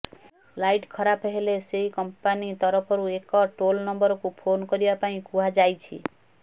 light ଖରାପ ହେଲେ ସେହି କମ୍ପାନୀ ତରଫରୁ ଏକ ଟୋଲ୍ ନମ୍ବରକୁ ଫୋନ୍ କରିବା ପାଇଁ କୁହାଯାଇଛି